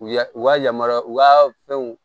U ya u ka yamaruya u ka fɛnw